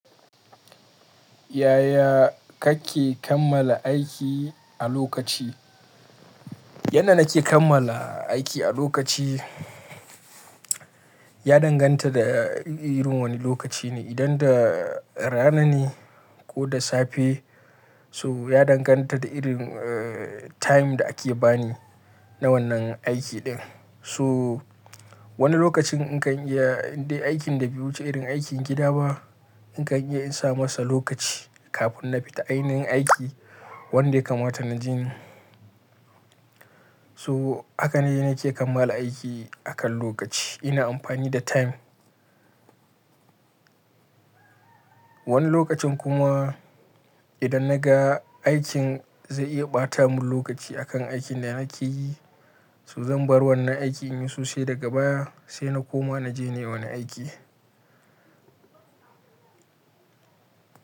Yaya kake kammala aiki a lokaci? Yanda nake kammala aiki a lokaci, ya danganta da irin wane lokaci ne. Idan da rana ne ko da safe, so ya danganta da irin time da ake bani na wannan aiki din. To wani lokacin in kan iya, inda aikin da biyu wuce irin aikin gida ba, in kan iya in sa masa lokaci kafin na fita ainihin aiki wanda ya kamata na je ni. So haka ne nake kammala aiki akan lokaci, ina amfani da time. Wani lokacin kuma idan na ga aikin zai iya ɓata mun lokaci akan aikin da nake yi, so zan bar wannan aikin in yi sosai daga baya sai na koma na je nayi wani aiki.